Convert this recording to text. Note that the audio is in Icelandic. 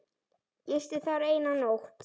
Gisti þar eina nótt.